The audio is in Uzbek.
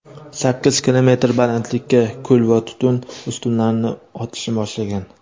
sakkiz kilometr balandlikka kul va tutun ustunlarini otishni boshlagan.